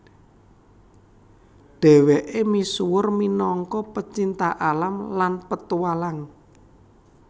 Dheweke misuwur minangka pecinta alam lan petualang